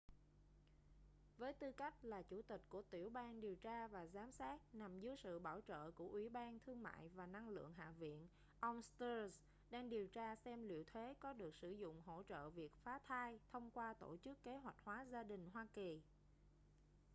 với tư cách là chủ tịch của tiểu ban điều tra và giám sát nằm dưới sự bảo trợ của ủy ban thương mại và năng lượng hạ viện ông stearns đang điều tra xem liệu thuế có được sử dụng hỗ trợ việc phá thai thông qua tổ chức kế hoạch hóa gia đình hoa kỳ